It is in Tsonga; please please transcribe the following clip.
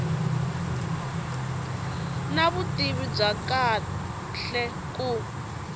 na vutivi bya kahle ku